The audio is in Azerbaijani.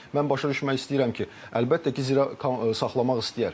mən başa düşmək istəyirəm ki, əlbəttə ki, saxlamaq istəyər.